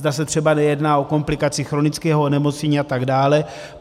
Zda se třeba nejedná o komplikaci chronického onemocnění a tak dále.